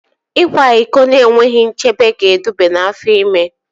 Ịkwa iko na-enweghị nchebe ga-eduba n'afọ ime